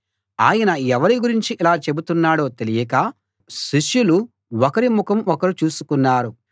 ఆయన ఎవరి గురించి ఇలా చెబుతున్నాడో తెలియక శిష్యులు ఒకరి ముఖం ఒకరు చూసుకున్నారు